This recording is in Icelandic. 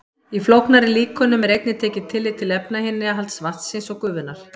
Í flóknari líkönum er einnig tekið tillit til efnainnihalds vatnsins og gufunnar.